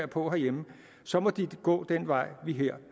på herhjemme må de gå den vej vi her